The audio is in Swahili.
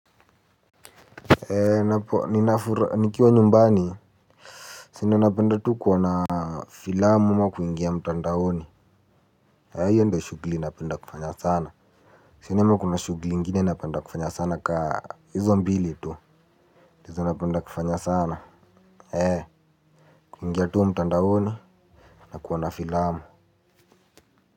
Ee napo ninafura nikiwa nyumbani sina napenda tu kuwana filamu ma kuingia mtandaoni ayo ndo shugli napenda kufanya sana sina ama kuna shugli nigine napenda kufanya sana ka hizo mbili tu ndizo napenda kufanya sana ee kuingia tu mtandoni na kuwana filamu.